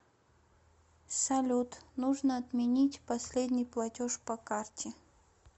салют нужно отменить последний платеж по карте